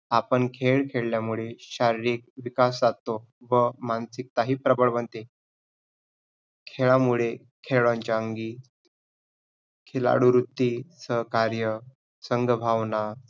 आपण खेळ खेळल्यामुळे शारीरिक विकास साधतो व मानसिकता ही प्रबळ बनते. खेळामुळे खेळांचा अंगी खिलाडूवृत्ती सहकार्य संगभावना